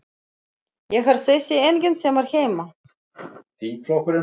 Ég er þessi enginn sem er heima.